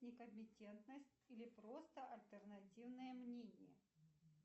некомпетентность или просто альтернативное мнение